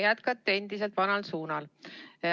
Jätkate endiselt vanal suunal.